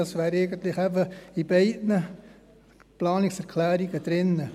Da wären eigentlich eben bei beiden Planungserklärungen drin.